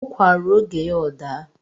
Ukwa ruo oge ya ọ daa